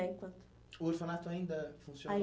O orfanato ainda funciona? Ainda